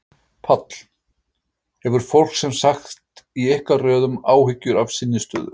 Páll: Hefur fólk sem sagt í ykkar röðum áhyggjur af sinni stöðu?